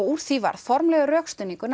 úr því varð formlegur rökstuðningur